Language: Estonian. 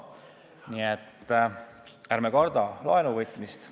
Nii et ärme kardame laenuvõtmist.